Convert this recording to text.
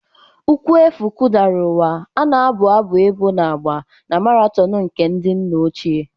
Ụkwụ efu kụdara ụwa, a na-abụ abụ ebo na-agba na maraton nke ndị nna ochie.